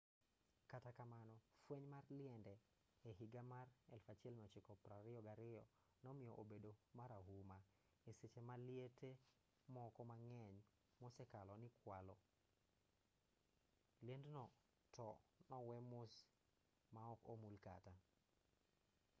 kata kamano fweny mar liende e higa mar 1922 nomiyo obedo marahuma e seche ma liete moko mang'eny mosekalo nikwalo liendno to nowe mos maok omul kata